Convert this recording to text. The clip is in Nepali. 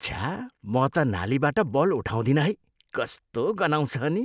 छ्या, म त नालीबाट बल उठाउदिनँ है। कस्तो गनाउँछ अनि।